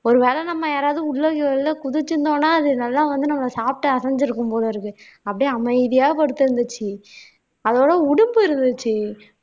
ஒருவேளை நம்ம யாராவது உள்ள குள்ள குதிச்சிருந்தோம்ன்னா அது நல்லா வந்து நம்ம சாப்பிட்டு அசைஞ்சிருக்கும் போல இருக்கு அப்படியே அமைதியா படுத்திருந்துச்சு அதோட உடும்பு இருந்துச்சு